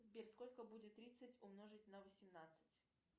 сбер сколько будет тридцать умножить на восемнадцать